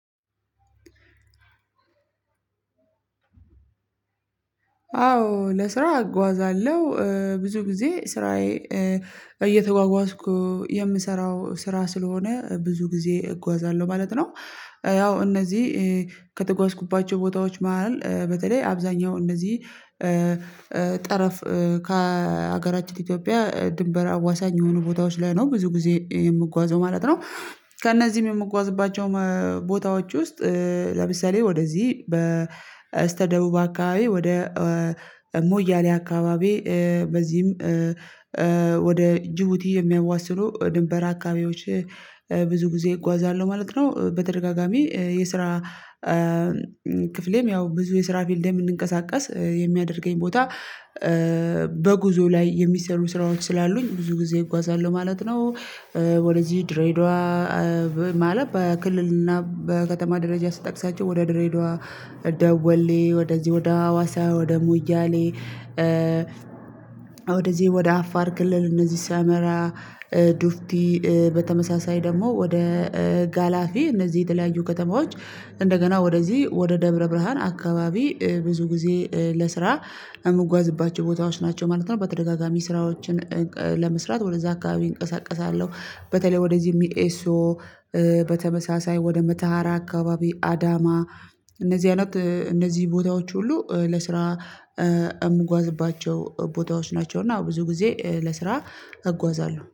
አዎ ለስራ አጓዛለሁ ብዙ ጊዜ ስራዬ እየተጓጓዝኩ የምሰራው ስራ ስለሆነ ብዙ ጊዜ እጓዛለሁ ማለት ነው። ያው እነዚህ ከተጓዝኩባቸው ቦታዎች መሃል በተለይ አብዛኛው እነዚህ ጠረፍ ከሀገራችን ኢትዮጵያ ድንበር አዋሳኝ የሆኑ ቦታዎች ላይ ነው ብዙ ጊዜ የምጓዘው ማለት ነው። ከእነዚህም የምጓዝባቸው ቦታዎች ውስጥ ለምሳሌ ወደዚህ በስተደቡብ አካባቢ ወደ ሙያሌ አካባቢ በዚህም ወደ ጅቡቲ የሚያዋስኑ ድንበር አካባቢዎች ብዙ ጊዜ እጓዛለሁ ማለት ነው። በተደጋጋሚ የስራ ክፍሌም ያው ብዙ የስራ ፊልድም የምያንቀሳቀስ የሚያደርገኝ ቦታ በጉዞ ላይ የሚሰሩ ስራዎች ስላሉኝ ብዙ ጊዜ እጓዛሉሁ ማለት ነው። ወደዚህ ድሬዳዋ ማለት በክልል እና በከተማ ደረጃ ስጠቅሳቸው ወደ ድሬዳዋ፣ ደወሌ ወደዚህ ወደ ሀዋሳ ወደ ሙያሌ ወደዚህ ወደ አፋር ክልል እነዚህ ሰመራ ዱፍቲ በተመሳሳይ ደግሞ ወደ ጋላፊ እነዚህ የተለያዩ ከተማዎች እንደገና ወደዚህ ወደ ደብረ ብርሃን አካባቢ ብዙ ጊዜ ለስራ የምጓዝባቸው ቦታዎች ናቸው ማለት ነው። በተደጋጋሚ ስራዎችን ለመስራት ወደዛ አካባቢ እንቀሳቀሳለሁ በተለይ ወደዚህ የሚኤሶ በተመሳሳይ ወደ መተሃራ አካባቢ አዳማ እነዚህ አይነት እነዚህ ቦታዎች ሁሉ ለስራ የምጓዝባቸው ቦታዎች ናቸው እና ብዙ ጊዜ ለስራ እጓዛለሁ